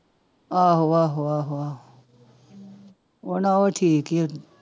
ਆਹੋ ਆਹੋ ਆਹੋ ਆਹੋ ਹਨਾ ਉਹ ਠੀਕ ਹੀ ਆ।